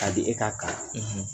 K'a di e ka kalan